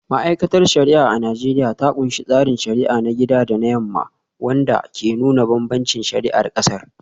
Ma’aikatar shari’a a Najeriya ta kunshi tsarin shari’a na gida da na yamma, wanda ke nuna bambancin shari’ar kasar.